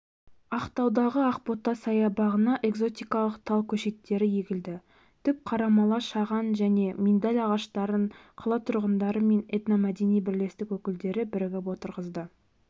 ақтаудағы ақбота саябағына экзотикалық тал көшеттері егілді түп қарамала шаған және миндаль ағаштарын қала тұрғындары мен этномәдени бірлестік өкілдері бірігіп отырғызды